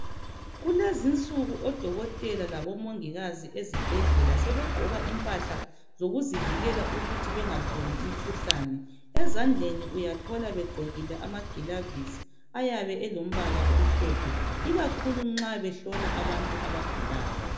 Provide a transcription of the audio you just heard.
Kulezinsuku odokotela labomongikazi ezibhedlela sebegqoka imphahla zokuthi bazivikele ukuthi bengatholi umkhuhlani ezandleni uyathola begqokile amagilavisi ayabe elombala omhlophe ikakhulu nxa behlola abantu abagulayo